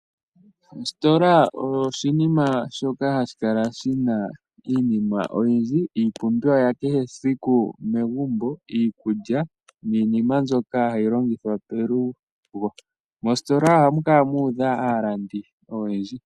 Ositola oyo oshinima shoka hashi kala shina iinima oyindji, iipumbiwa yakehe esiku megumbo, iikulya niinima mbyoka hayi longithwa kelugo. Mositola ohamu kala mudha aalandi oyendji.